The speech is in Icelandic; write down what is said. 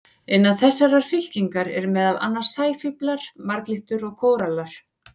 Innan þessarar fylkingar eru meðal annars sæfíflar, marglyttur og kórallar.